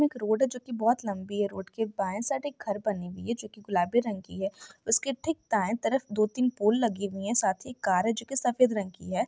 एक रोड है जो की बहुत लम्बी है रोड के बाये साइड एक घर बनी हुई हैं जो की गुलाबी रंग की हैं उस के ठीक दाय तरफ दो तीन फुल लगे हुए है और साथ ही कार है जो की सफ़ेद रंग की हैं।